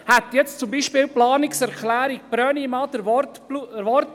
Hätte jetzt zum Beispiel die Planungserklärung Brönnimann den Wortlaut gehabt: